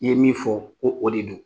I ye min fɔ ko o de don